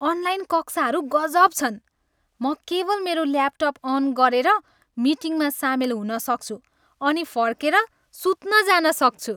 Online कक्षाहरू गजब छन्। म केवल मेरो ल्यापटप अन गरेर मिटिङमा सामेल हुन सक्छु अनि फर्केर सुत्न जान सक्छु।